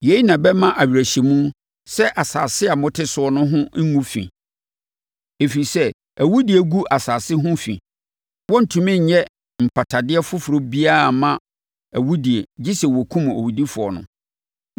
“Yei na ɛbɛma awerɛhyɛmu sɛ asase a mote so no ho rengu fi, ɛfiri sɛ, awudie gu asase ho fi. Wɔrentumi nyɛ mpatadeɛ foforɔ biara mma awudie gye sɛ wɔkum owudifoɔ no.